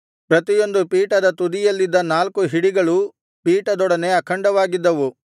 ಪ್ರತಿಯೊಂದು ಪೀಠದ ತುದಿಯಲ್ಲಿದ್ದ ನಾಲ್ಕು ಹಿಡಿಗಳು ಪೀಠದೊಡನೆ ಅಖಂಡವಾಗಿದ್ದವು